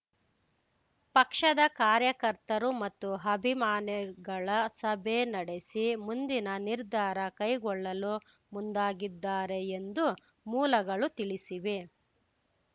ಪಕ್ಷದ ಕಾರ್ಯಕರ್ತರು ಮತ್ತು ಅಭಿಮಾನಿಗಳ ಸಭೆ ನಡೆಸಿ ಮುಂದಿನ ನಿರ್ಧಾರ ಕೈಗೊಳ್ಳಲು ಮುಂದಾಗಿದ್ದಾರೆ ಎಂದು ಮೂಲಗಳು ತಿಳಿಸಿವೆ